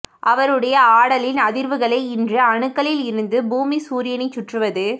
அவருடைய ஆடலின் அதிர்வுகளே இன்று அணுக்களில் இருந்து பூமி சூரியனை சுற்றுவது